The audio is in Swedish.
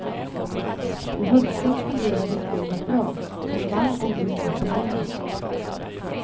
I höstas fungerade spelet bra, men jag vann ändå inga turneringar.